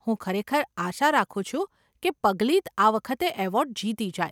હું ખરેખર આશા રાખું છુ કે પગ્લિત આ વખતે એવોર્ડ જીતી જાય.